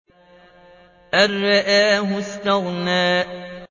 أَن رَّآهُ اسْتَغْنَىٰ